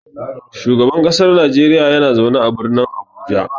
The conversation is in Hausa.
Shugaban kasar Nijeriya yana zaune a Birnin Abuja.